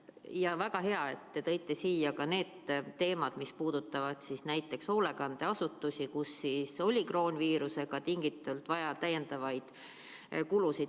Ja väga hea, et te tõite siia ka need teemad, mis puudutavad näiteks hoolekandeasutusi, kus oli kroonviirusest tingitult vaja täiendavaid kulusid.